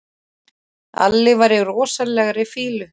Alli var í rosalegri fýlu.